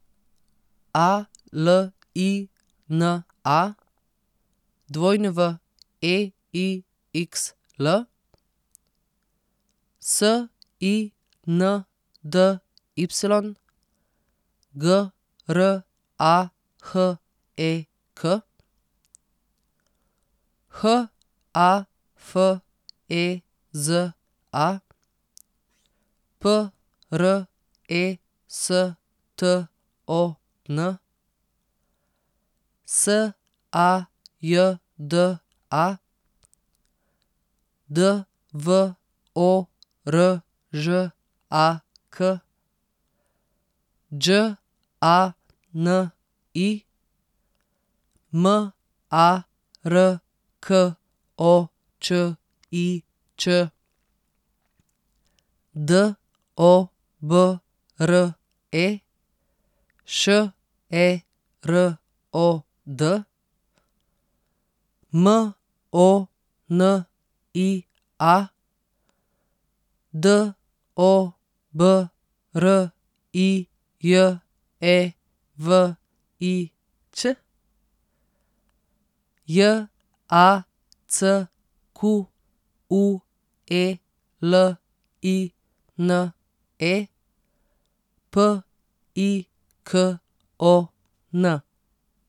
A L I N A, W E I X L; S I N D Y, G R A H E K; H A F E Z A, P R E S T O N; S A J D A, D V O R Ž A K; Đ A N I, M A R K O Č I Č; D O B R E, Š E R O D; M O N I A, D O B R I J E V I Ć; J A C Q U E L I N E, P I K O N.